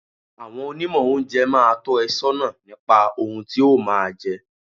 Àwọn Onímọ̀ oúnjẹ máa tọ́ ẹ sọ́nà nípa ohun tí o máa jẹ.